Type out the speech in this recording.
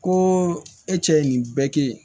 Ko e cɛ ye nin bɛɛ kɛ